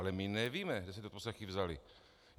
Ale my nevíme, kde se ty odposlechy vzaly.